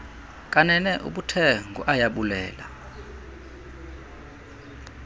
kanene ubuthe nguayabulela